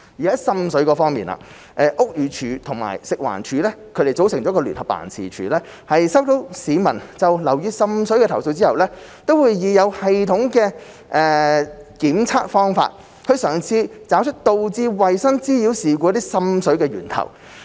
在滲水方面，屋宇署及食環署組成的聯合辦事處在收到市民就樓宇滲水的投訴後，會以有系統的檢測方法，嘗試找出導致衞生妨擾事故存在。